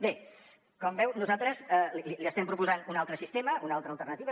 bé com veu nosaltres li estem proposant un altre sistema una altra alternativa